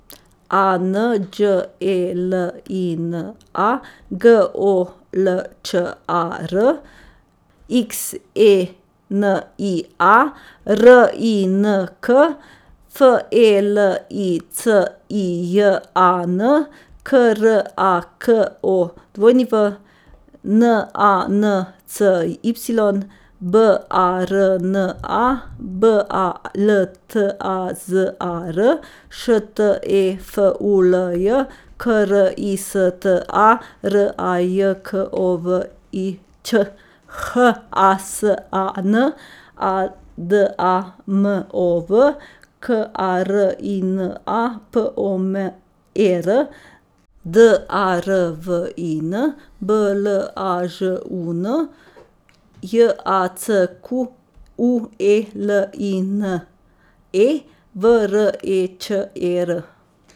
A N Đ E L I N A, G O L Č A R; X E N I A, R I N K; F E L I C I J A N, K R A K O W; N A N C Y, B A R N A; B A L T A Z A R, Š T E F U L J; K R I S T A, R A J K O V I Ć; H A S A N, A D A M O V; K A R I N A, P O M E R; D A R V I N, B L A Ž U N; J A C Q U E L I N E, V R E Č E R.